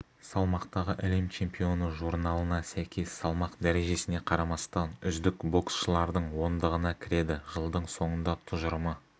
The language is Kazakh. салмақтағы әлем чемпионы журналына сәйкес салмақ дәрежесіне қарамастан үздік боксшылардың ондығына кіреді жылдың соңында тұжырымы